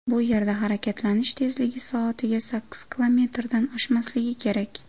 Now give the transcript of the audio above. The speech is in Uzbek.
Bu yerda harakatlanish tezligi soatiga sakkiz kilometrdan oshmasligi kerak.